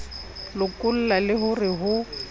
lokolla le ho re ho